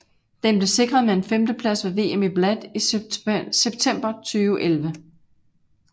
Den blev sikret med en femteplads ved VM i Bled i september 2011